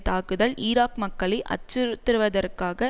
தாக்குதல் ஈராக் மக்களை அச்சுறுத்துவதற்காக